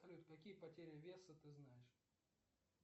салют какие потери веса ты знаешь